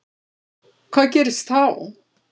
Hvað gerist þá?